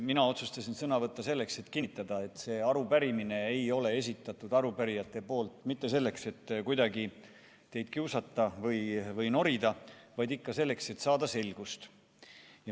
Mina otsustasin sõna võtta selleks, et kinnitada, et seda arupärimist ei ole arupärijad esitanud mitte selleks, et teid kuidagi kiusata või norida, vaid ikka selleks, et saada selgust.